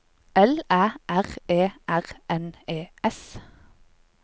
L Æ R E R N E S